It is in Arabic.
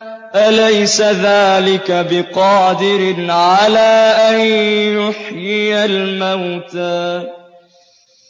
أَلَيْسَ ذَٰلِكَ بِقَادِرٍ عَلَىٰ أَن يُحْيِيَ الْمَوْتَىٰ